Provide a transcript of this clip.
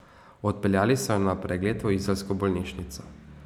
Odpeljali so jo na pregled v izolsko bolnišnico.